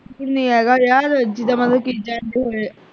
ਹੈਗਾ ਯਾਰ ਜਿੱਦਾਂ ਮਤਲਬ